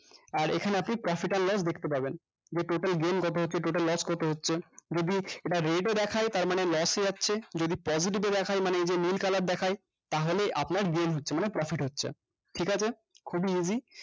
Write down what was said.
আর এখানে আপনি profit আর loss দেখতে পাবেন যে total gain কত হচ্ছে total loss কত হচ্ছে যদি এটা red এ দেখায় তার মানে loss এ যাচ্ছে যদি psoitive এ দেখায় মানে এইযে নীল color দেখায় তাহলে আপনার gain হচ্ছে ঠিকাছে খুবই easy